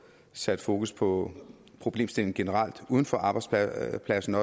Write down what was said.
sat fokus på problemstillingen generelt uden for arbejdspladsen